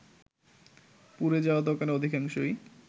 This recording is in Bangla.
পুড়ে যাওয়া দোকানে অধিকাংশই